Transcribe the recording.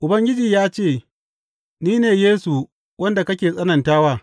Ubangiji ya ce, Ni ne Yesu wanda kake tsananta wa.